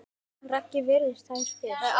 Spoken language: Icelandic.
Raggi virðir þær fyrir sér.